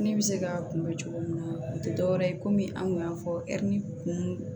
Ne bɛ se k'a kunbɛ cogo min na o tɛ dɔwɛrɛ ye komi an kun y'a fɔ ɛri kun